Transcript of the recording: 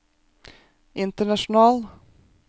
international